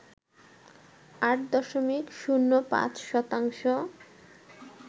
৮ দশমিক ০৫ শতাংশ